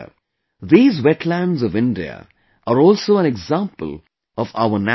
These wetlands of India are also an example of our natural potential